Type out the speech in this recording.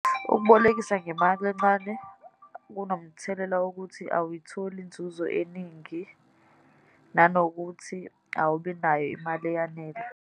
Ukubolekisa ngemali encane kunomthelela wokuthi awuyitholi inzuzo eningi, nanokuthi awubinayo imali eyanele.